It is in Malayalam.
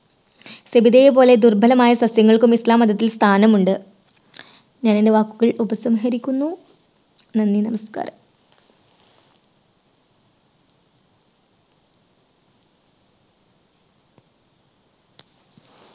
സബിതയെ പോലെ ദുർബലമായ സസ്യങ്ങൾക്കും ഇസ്ലാം മതത്തിൽ സ്ഥാനമുണ്ട്. ഞാൻ എൻറെ വാക്കുകൾ ഉപസംഹരിക്കുന്നു, നന്ദി. നമസ്കാരം.